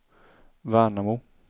Värnamo